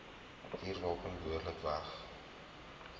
vuurwapen behoorlik weg